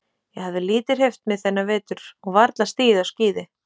Ég hafði lítið hreyft mig þennan vetur og varla stigið á skíði.